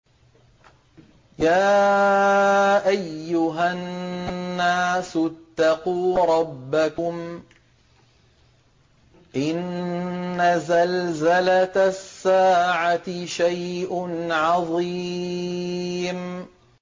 يَا أَيُّهَا النَّاسُ اتَّقُوا رَبَّكُمْ ۚ إِنَّ زَلْزَلَةَ السَّاعَةِ شَيْءٌ عَظِيمٌ